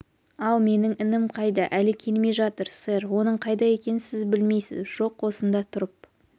ал менің інім қайда әлі келмей жатыр сэр оның қайда екенін сіз білмейсіз жоқ осында тұрып